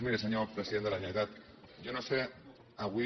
miri senyor president de la generalitat jo no sé avui